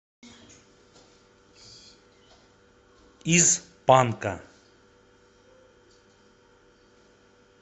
из панка